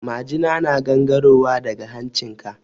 Majina na gangaro wa daga hancin ka.